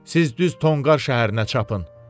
Siz düz Tonqar şəhərinə çapın.